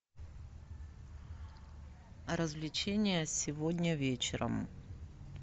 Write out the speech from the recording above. развлечения сегодня вечером